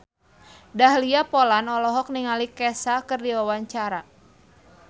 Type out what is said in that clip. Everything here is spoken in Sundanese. Dahlia Poland olohok ningali Kesha keur diwawancara